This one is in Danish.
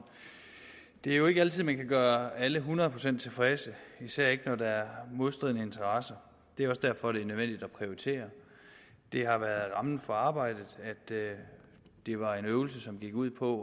det er jo ikke altid man kan gøre alle hundrede procent tilfredse især ikke når der er modstridende interesser det er også derfor det er nødvendigt at prioritere det har været rammen for arbejdet at det var en øvelse som gik ud på